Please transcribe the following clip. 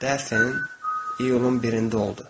Deyəsən, iyulun birində oldu.